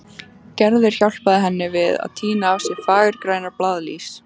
Gerður hjálpaði henni við að tína af sér fagurgrænar blaðlýs.